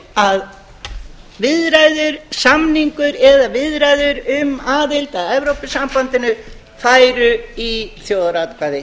um að viðræðu samningur eða viðræður um aðild að evrópusambandinu færu í þjóðaratkvæði